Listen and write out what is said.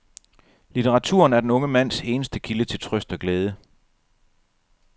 Litteraturen er den unge mands eneste kilde til trøst og glæde.